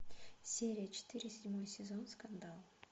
серия четыре седьмой сезон скандал